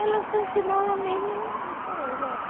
Ela só ensinava a mesma coisa.